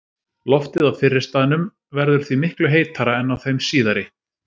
Loftið á fyrri staðnum verður því miklu heitara en á þeim síðari.